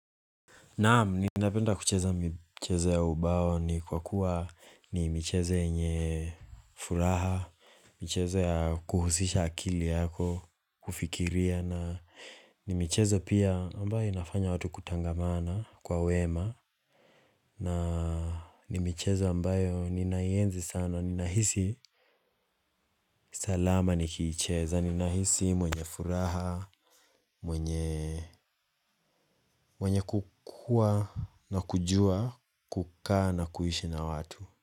Naam, ninapenda kucheza michezo ya ubao ni kwa kuwa ni michezo yenye furaha, michezo ya kuhusisha akili yako, kufikiria na ni micheze pia ambayo inafanya watu kutangamana kwa wema. Na ni michezo ambayo ninaenzi sana ninahisi salama nikiicheza ninahisi mwenye furaha. Mwenye kukua na kujua kukaa na kuishi na watu.